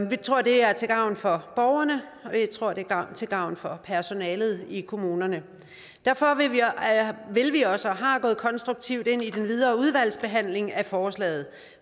vi tror det er til gavn for borgerne og vi tror det er til gavn for personalet i kommunerne derfor vil vi også gå konstruktivt ind i den videre udvalgsbehandling af forslaget